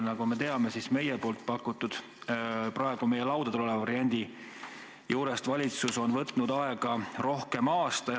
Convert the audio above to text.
Nagu me teame, meie pakutud ja praegu meie laudadel oleva variandi puhul on valitsus võtnud aega rohkem kui aasta.